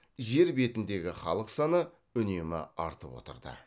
жер бетіндегі халық саны үнемі артып отырды